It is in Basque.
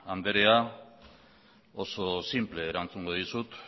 anderea oso sinple erantzungo dizut